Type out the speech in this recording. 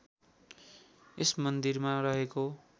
यस मन्दिरमा रहेको